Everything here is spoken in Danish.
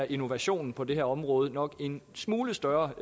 innovationen på det her område nok er en smule større